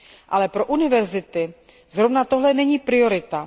Ale pro univerzity zrovna tohle není prioritou.